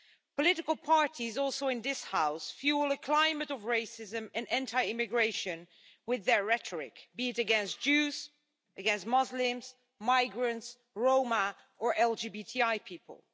Political parties, also in this House, fuel a climate of racism and anti immigration with their rhetoric, be it against Jews, Muslims, migrants, Roma or LGBTI people.